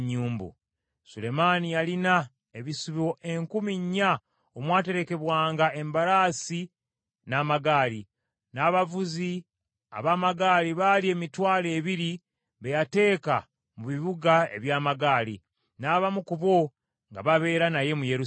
Sulemaani yalina ebisibo enkumi nnya omwaterekebwanga embalaasi n’amagaali; n’abavuzi ab’amagaali baali emitwalo ebiri be yateeka mu bibuga eby’amagaali, n’abamu ku bo nga babeera naye mu Yerusaalemi.